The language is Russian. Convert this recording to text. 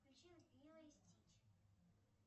включи лило и стич